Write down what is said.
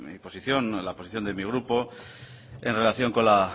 mi posición la posición de mi grupo en relación con la